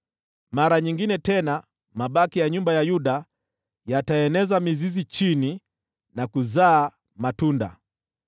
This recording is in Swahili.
Mara nyingine tena mabaki ya nyumba ya Yuda wataeneza mizizi chini na kuzaa matunda juu.